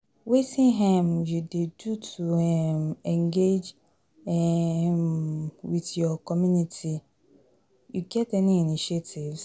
wetin um you dey do to um engage um with your your community, you get any initiatives?